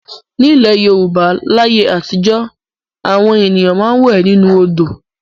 Nílẹ̀ Yorùbá láyé àtijọ́ àwọn ènìyàn máa ń wẹ̀ nínú odò.